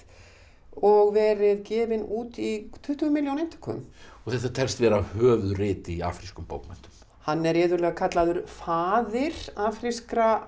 og verið gefin út í tuttugu milljón eintökum og þetta telst vera höfuðrit í afrískum bókmenntum hann er iðulega kallaður faðir afrískra